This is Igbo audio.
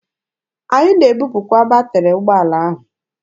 Anyị na-ebupụta batịrị ụgbọala ahụ.